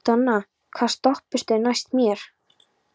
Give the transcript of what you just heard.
Donna, hvaða stoppistöð er næst mér?